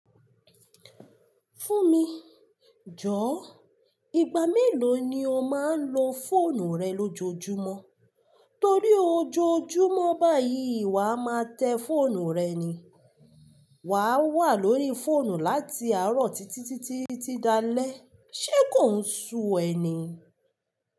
Fún mi, jọ̀ọ́. Ìgbà mélòó ni o máa ń lo fóònù rẹ lójoojúmọ́? Torí ojoojúmọ́ báyìí, ìwà máa tẹ fóònù rẹ ni. Wà á wà lórí fóònù láti àárọ̀ títí títí tí dalẹ́. Ṣé kò ń ṣú ẹ ni?